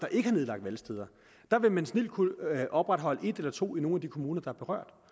ikke har nedlagt valgsteder vil man snildt kunne opretholde et eller to valgsteder i nogle af de kommuner der er berørt